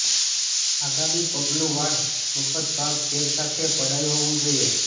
આગામી પગલું વાળ મફત ભાગ સેર સાથે પડાય હોવું જોઈએ